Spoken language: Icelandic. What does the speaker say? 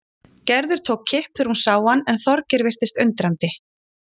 Gerður tók kipp þegar hún sá hann en Þorgeir virtist undrandi.